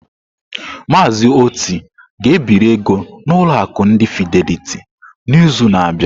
Mazị Oti ga ebiri ego n'ụlọ akụ ndi Fideliti n'izu na-abịa.